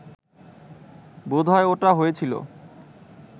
বোধহয় ওটা হয়েছিল